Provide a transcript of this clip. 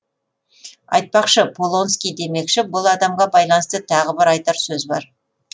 айтпақшы полонский демекші бұл адамға байланысты тағы бір айтар сөз бар